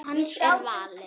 Hans er valið.